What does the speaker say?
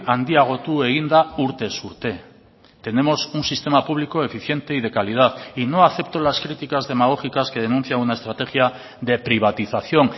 handiagotu egin da urtez urte tenemos un sistema público eficiente y de calidad y no acepto las criticas demagógicas que denuncian una estrategia de privatización